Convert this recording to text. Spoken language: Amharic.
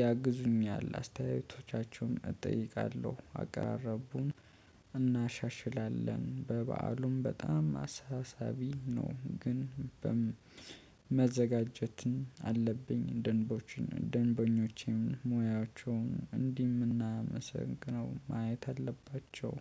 ያግዙኛል አስተያየቶቻቸውን እጠይቃለሁ። አቀራረቡን እናሻሽላለን። በበዓሉም በጣም አሳሳቢ ነው። ግን መዘጋጀትን አለብኝ። ደንቦች ደንበኞች ሙያቸውን እንደምናመሰግነው ማየት አለባቸው